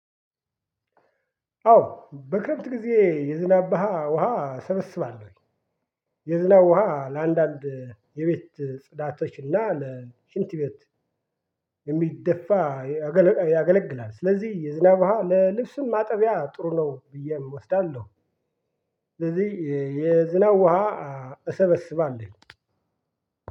አዎ በክረምት ጊዜ የዝናብ ውሃ እሰበስባለሁ። የዝናብ ውሃ ለአንዳንድ የቤት ጽዳቶችና ለሽንት ቤት የሚደፋ ያገለግላል። ስለዚህ የዝናብ ለልብስም ማጠቢያ ጥሩ ነው ብዬ እወስዳለሁ። ስለዚህ የዝናብ ውሃ እሰበስባለሁ።